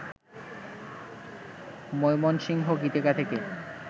মৈমনসিংহ গীতিকা থেকে